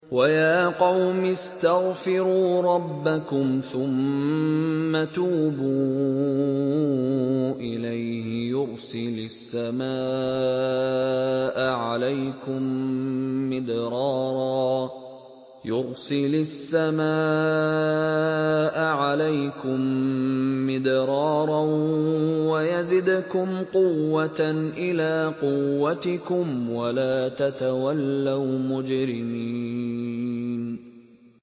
وَيَا قَوْمِ اسْتَغْفِرُوا رَبَّكُمْ ثُمَّ تُوبُوا إِلَيْهِ يُرْسِلِ السَّمَاءَ عَلَيْكُم مِّدْرَارًا وَيَزِدْكُمْ قُوَّةً إِلَىٰ قُوَّتِكُمْ وَلَا تَتَوَلَّوْا مُجْرِمِينَ